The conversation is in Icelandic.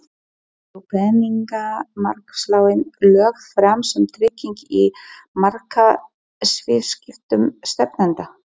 Voru peningamarkaðslánin lögð fram sem trygging í markaðsviðskiptum stefnanda?